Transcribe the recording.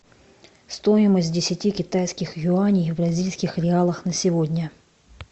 стоимость десяти китайских юаней в бразильских реалах на сегодня